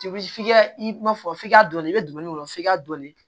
F'i ka i ma fɔ i ka dɔnni i bɛ donin k'o f'i ka dɔɔnin